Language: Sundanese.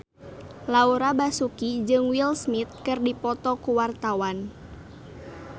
Laura Basuki jeung Will Smith keur dipoto ku wartawan